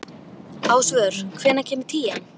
Ásvör, hvenær kemur tían?